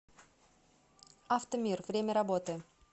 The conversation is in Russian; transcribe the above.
авто мир время работы